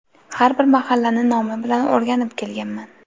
Har bir mahallani nomi bilan o‘rganib kelganman.